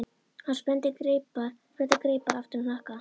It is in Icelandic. Hann spennti greipar aftur á hnakka.